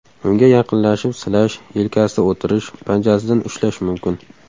Unga yaqinlashib silash, yelkasida o‘tirish, panjasidan ushlash mumkin”.